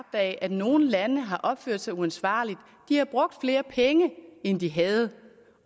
af at nogle lande har opført sig uansvarligt de har brugt flere penge end de havde